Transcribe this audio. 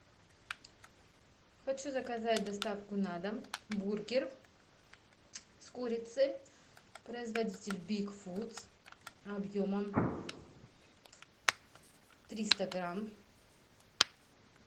хочу заказать доставку на дом бургер с курицей производитель биг фудс объемом триста грамм